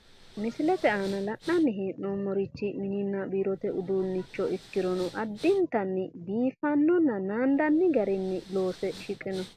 Misilete aana la'nanni hee'noommorichi mininna biirote uduunnicho ikkirono addintanni biifannonna naandanni garinni loose shiqino.